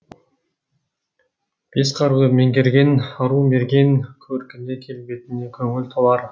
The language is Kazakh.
бес қаруды меңгерген ару мерген көркіне келбетіне көңіл толар